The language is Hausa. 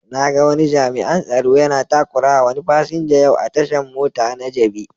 Na ga jami'an tsaro yana takurawa wani fasinja yau a tashan mota na jabi.